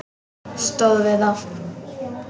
Stóð við það.